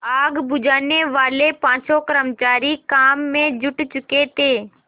आग बुझानेवाले पाँचों कर्मचारी काम में जुट चुके थे